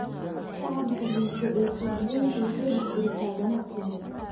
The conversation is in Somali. Fahamka liidata ee suuqgeyntu waxay burburisaa ganacsiga.